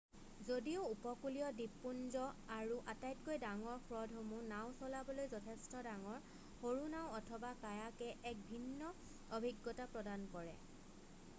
যদিও উপকূলীয় দ্বীপপুঞ্জ আৰু আটাইতকৈ ডাঙৰ হ্ৰদসমূহ নাও চলাবলৈ যথেষ্ট ডাঙৰ সৰু নাও অথবা কায়াকে এক ভিন্ন অভিজ্ঞতা প্ৰদান কৰে